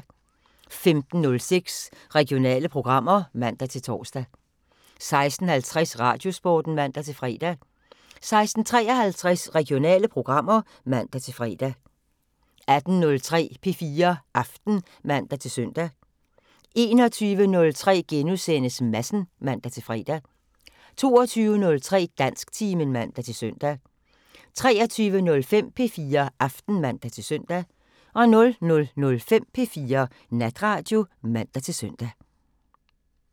15:06: Regionale programmer (man-tor) 16:50: Radiosporten (man-fre) 16:53: Regionale programmer (man-fre) 18:03: P4 Aften (man-søn) 21:03: Madsen *(man-fre) 22:03: Dansktimen (man-søn) 23:05: P4 Aften (man-søn) 00:05: P4 Natradio (man-søn)